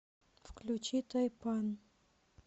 включи тайпан